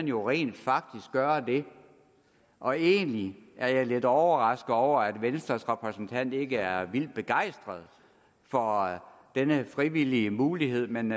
jo rent faktisk gøre det og egentlig er jeg lidt overrasket over at venstres repræsentant ikke er vildt begejstret for denne frivillige mulighed men